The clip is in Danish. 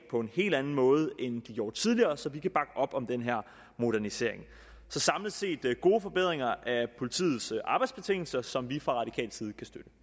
på en helt anden måde end de gjorde tidligere så vi kan bakke op om den her modernisering så samlet set er det gode forbedringer af politiets arbejdsbetingelser som vi fra radikal side